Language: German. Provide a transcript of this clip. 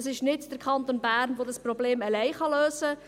Es ist nicht der Kanton Bern, der dieses Problem allein lösen kann.